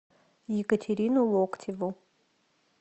екатерину локтеву